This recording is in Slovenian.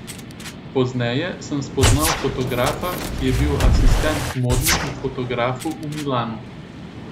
Pozneje sem spoznal fotografa, ki je bil asistent modnemu fotografu v Milanu.